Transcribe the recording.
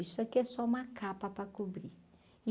Isso aqui é só uma capa para cobrir.